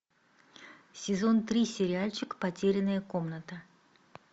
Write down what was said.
сезон три сериальчик потерянная комната